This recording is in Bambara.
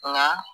Nka